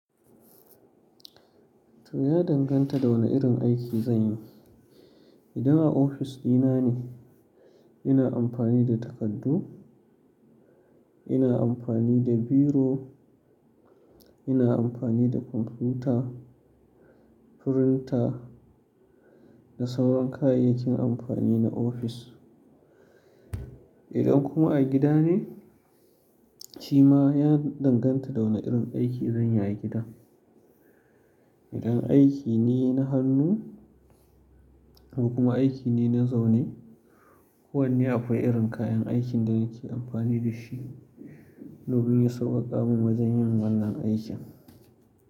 To ya danganta da wane irin aiki zan yi. Idan a ofis ɗina ne, ina amfani da takardu, ina amfani da biro, ina amfani da kwamfuta, firinta da sauran kayayyakin amfani na ofis. Idan kuma a gida ne, shi ma ya danganta da wane irin aiki zan yi a gida. Idan aiki ne na hannu kuma aiki ne na zaune, kowanne akwai irin kayan aikin da nake amfani da shi, domin ya sauƙaƙa min wajen yin wannan aikin.